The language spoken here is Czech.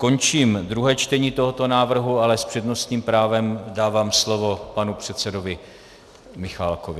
Končím druhé čtení tohoto návrhu, ale s přednostním právem dávám slovo panu předsedovi Michálkovi.